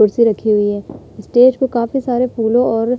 कुर्सी रखी हुई है। स्टेज को काफी सारे फूलों और --